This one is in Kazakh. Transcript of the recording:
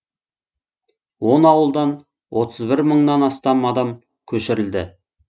он ауылдан отыз бір мыңнан астам адам көшірілді